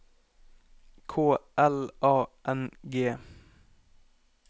K L A N G